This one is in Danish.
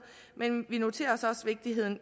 men vi noterer os også vigtigheden